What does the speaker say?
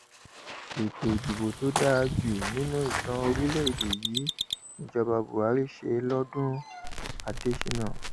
ètò ìdìbò tó dáa jù nínú ìtàn orílẹèdè yìí níjọba buhari ṣe lọdún adésínà